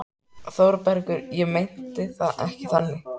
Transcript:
ÞÓRBERGUR: Ég meinti það ekki þannig.